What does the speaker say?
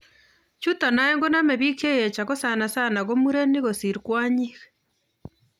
Chutok oeng' konome big cheyech ako sana sana ko murenik kosir kwonyik